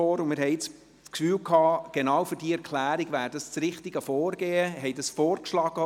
Wir hatten das Gefühl, dies sei das genau richtige Vorgehen für diese Erklärung.